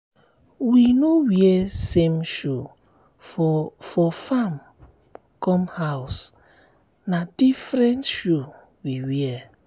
we no wear same shoe for for farm come house na different shoe we wear.